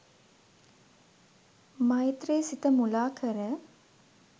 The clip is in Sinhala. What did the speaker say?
මෛත්‍රි සිත මුලාකර